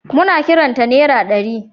Muna kiran ta nera ɗari.